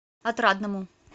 отрадному